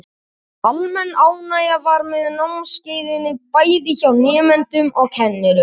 Almenn ánægja var með námskeiðin, bæði hjá nemendum og kennurum.